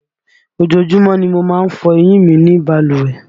Ojoojúmọ́ ni mo má ń fọ eyín mi ní balùwẹ̀